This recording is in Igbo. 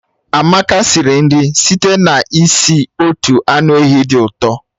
Amaka siri nri site n'isi otu anụ ehi dị ụtọ